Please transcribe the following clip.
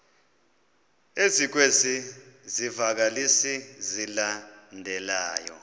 ezikwezi zivakalisi zilandelayo